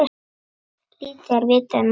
Lítið er vitað um málið.